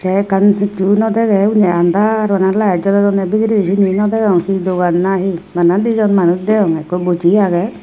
the ekkan hichu nw dege undi under bana light jolodonne bidiredi cini nw degong he Dogan na he bana di jon manuj degonge ekku boji age.